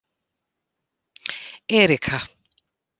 Erika